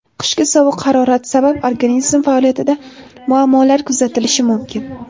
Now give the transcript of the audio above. Qishki sovuq harorat sabab organizm faoliyatida muammolar kuzatilishi mumkin.